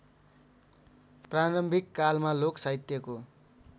प्रारम्भिककालमा लोक साहित्यको